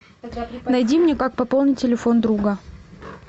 найди мне как пополнить телефон друга